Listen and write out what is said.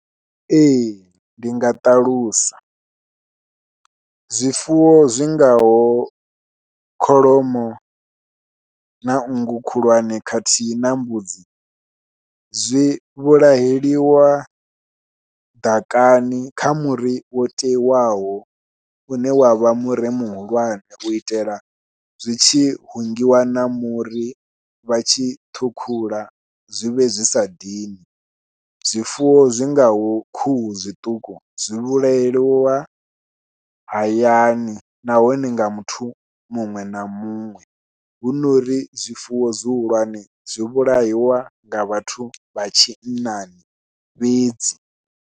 Ee ndi nga ṱalusa, zwifuwo zwi ngaho kholomo na nngu khulwane khathihi na mbudzi zwi vhulaheliwa ḓakani kha muri wo teiwaho une wa vha muri muhulwane u itela zwi tshi hungiwa na muri vha tshi ṱhukhula zwi vhe zwi sa dini, zwifuwo zwi ngaho khuhu zwiṱuku zwi vhulaheliwa hayani nahone nga muthu muṅwe na muṅwe, huno ri zwifuwo zwihulwane zwi vhulahiwa nga vhathu vha tshinnani fhedzi.